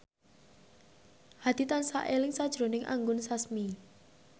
Hadi tansah eling sakjroning Anggun Sasmi